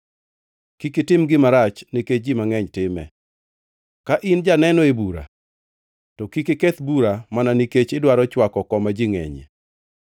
“Kik itim gima rach nikech ji mangʼeny time. Ka in janeno e bura, to kik iketh bura mana nikech idwaro chwako koma ji ngʼenyie,